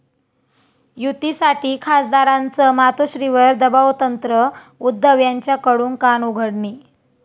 युतीसाठी खासदारांचं मातोश्रीवर दबावतंत्र, उद्धव यांच्याकडून कानउघडणी